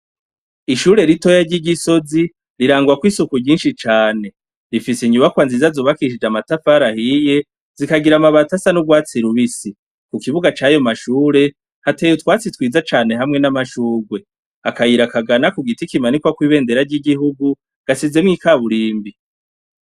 Ishure ritoya ry'igisozi, rirangwako'isuku ryinshi cane, rifise inyubakwa nziza zubakishije amatafara ahiye zikagira amabata asa n'urwatsi rubisi ku kibuga cayo mashure hateye utwatsi twiza cane hamwe n'amashurwe akayirakagana ku giti kimanikwa kw'ibendera ry'igihugu gasizemwo ikaburimbi.